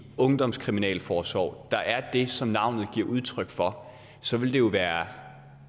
ungdomskriminalforsorg der er det som navnet giver udtryk for så vil det jo være